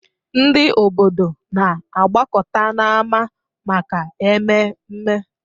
Ndị obodo na-agbakọta n'ámá maka ememme.